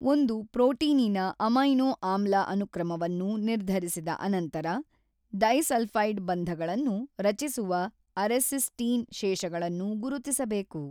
ಒಂದು ಪ್ರೋಟೀನಿನ ಅಮೈನೋ ಅಮ್ಲ ಅನುಕ್ರಮವನ್ನು ನಿರ್ಧರಿಸಿದ ಅನಂತರ ಡೈಸಲ್ಛೈಡ್ ಬಂಧಗಳನ್ನು ರಚಿಸುವ ಅರೆಸಿಸ್ಟೀನ್ ಶೇಷಗಳನ್ನು ಗುರುತಿಸಬೇಕು.